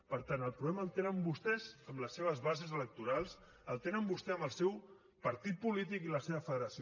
per tant el problema el tenen vostès amb les seves bases electorals el tenen vostès amb el seu partit polític i la seva federació